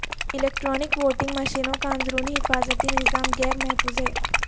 electronic voting مشینوں کا اندرونی حفاظتی نظام غیر محفوظ ہے